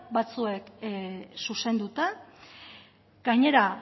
batzuek zuzenduta gainera